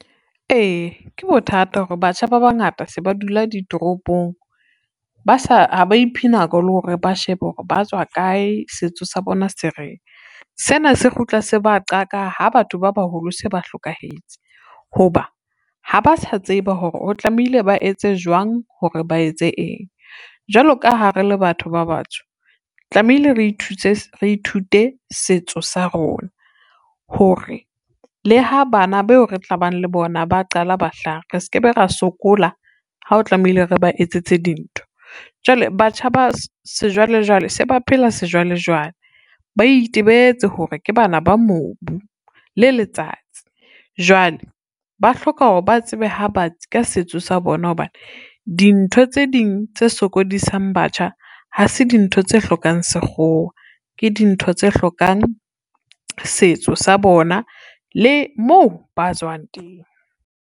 Ee, ke bothata hore batjha ba bangata se ba dula ditoropong, ha ba iphe nako le hore ba shebe hore ba tswa kae, setso sa bona se reng. Sena se kgutla se ba qaka ha batho ba baholo se ba hlokahetse, ho ba ha ba sa tseba hore o tlamehile ba etse jwang, hore ba etse eng. Jwalo ka ha re le batho ba batsho tlamehile re ithute setso sa rona hore le ha bana beo re tlabang le bona, ba qala ba hlaha re ske be ra sokola ha o tlamehile re ba etsetse dintho. Jwale batjha ba sejwalejwale se ba phela sejwalejwale, ba itebetse hore ke bana ba mobu le letsatsi, jwale ba hloka hore ba tsebe ha batsi ka setso sa bona hobane dintho tse ding tse sokodisang batjha, ha se dintho tse hlokang Sekgowa ke dintho tse hlokang setso sa bona le mo ba tswang teng.